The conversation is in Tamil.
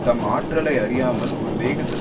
தம் ஆற்றலை அறியாமல் ஒரு வேகத்தில்